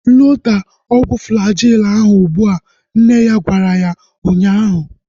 Loda ọgwụ Flajil ahu ụgbụa! Nne ya gwara ya ụnyaahụ